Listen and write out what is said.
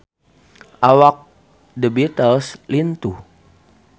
Awak The Beatles lintuh